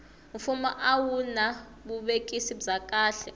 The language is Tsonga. fumo a a wuna vuvekisi bya kahle